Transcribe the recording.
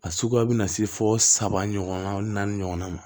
A suguya bɛ na se fo saba ɲɔgɔnna ɲɔgɔn ma